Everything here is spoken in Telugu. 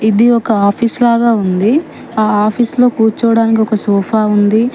ఇది ఒక ఆఫీస్ లాగా ఉంది ఆ ఆఫీస్ లో కూర్చోవడానికి ఒక సోఫా ఉంది.